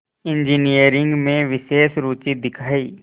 engineering में विशेष रुचि दिखाई